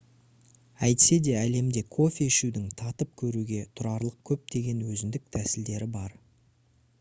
әйтсе де әлемде кофе ішудің татып көруге тұрарлық көптеген өзіндік тәсілдері бар